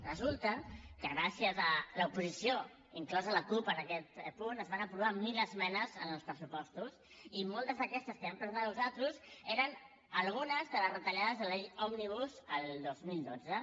resulta que gràcies a l’oposició inclosa la cup en aquest punt es van aprovar mil esmenes en els pressupostos i moltes d’aquestes que vam presentar nosaltres eren algunes de les retallades de la llei òmnibus el dos mil dotze